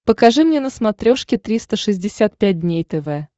покажи мне на смотрешке триста шестьдесят пять дней тв